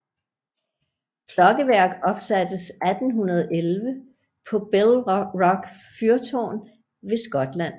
Klokkeværk opsattes 1811 på Bell Rock Fyrtårn ved Skotland